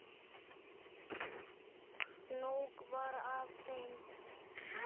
Nóg var af þeim.